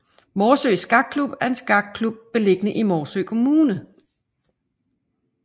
Morsø Skakklub er en skakklub beliggende i Morsø Kommune